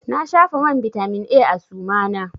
Na shafa man bitamin A a suma na.